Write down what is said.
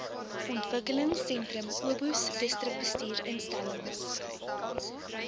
ontwikelingsentrum obos distriksbestuursinstellings